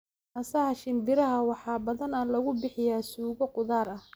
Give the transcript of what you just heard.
Naasaha shinbiraha waxaa badanaa lagu bixiyaa suugo khudaar ah.